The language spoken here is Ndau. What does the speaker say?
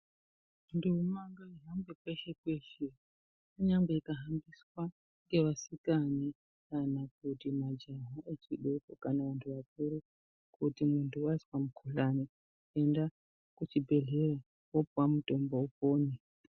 Ndombi ngaihambe peshe peshe kunyange ikahambiswa ngeasikana kana kuti mujaha wechidoko kana vantu vakuru kuti kana munhu wazwe mukhuhlani enda kuchibhehleya woopuwa mutombo wokumwa.